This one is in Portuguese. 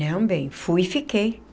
Não, bem, fui e fiquei.